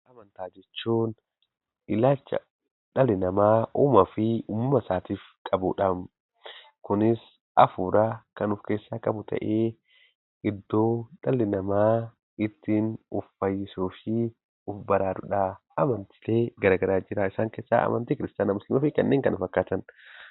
Amantaa jechuun ilaalcha dhalli namaa uumaa fi uumaasaatiif qabuudhaam. Kunis hafuura kan of-keessaa qabu ta'ee, iddoo dhalli namaa ittiin of fayyisuu fi of baraaruudha. Amantiilee garaa garaatu jira. Isaan keessaa amantii kiristaanaa, musliimaa fi kanneen kana fakkaatan.